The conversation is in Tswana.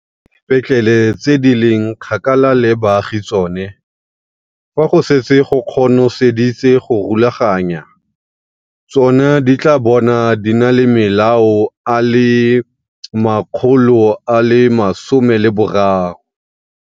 Fa e le dipetlele tse di leng kgakala le baagi tsone, fa go setse go kono seditse go di rulaganya, tsona di tla bo di na le malao a le 13 00.